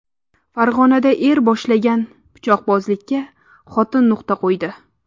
Farg‘onada er boshlagan pichoqbozlikka xotin nuqta qo‘ydi.